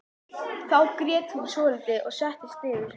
Þá grét hún svolítið og settist niður.